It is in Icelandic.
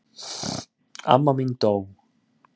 Amma mín dó.